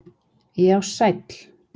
Já sæll!!!